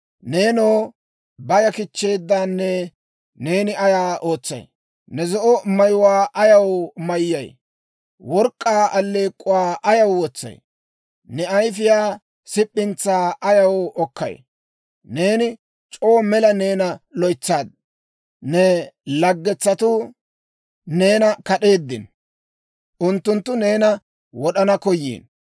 Neenoo, baya kichcheedaanee, neeni ay ootsay? Ne zo'o mayuwaa ayaw mayyay? Work'k'aa alleek'k'uwaa ayaw wotsay? Ne ayifiyaa sip'intsaa ayaw okkayi? Neeni c'oo mela neena loytsaadda. Ne laggetsatuu neena kad'eeddino; unttunttu neena wod'anaw koyiino.